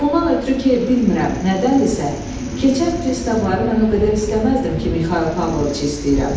Ondan ötrü ki bilmirəm, nədənsə, keçən pristavları mən o qədər istəməzdim ki, Mixail Pavloviçi istəyirəm.